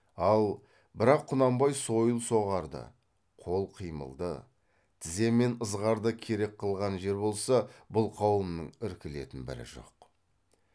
ал бірақ құнанбай сойыл соғарды қол қимылды тізе мен ызғарды керек қылған жер болса бұл қауымның іркілетін бірі жоқ